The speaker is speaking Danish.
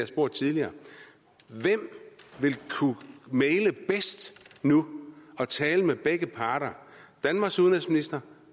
spurgt tidligere hvem ville kunne mægle bedst nu og tale med begge parter danmarks udenrigsminister